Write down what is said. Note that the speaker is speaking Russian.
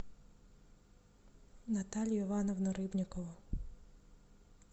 наталью ивановну рыбникову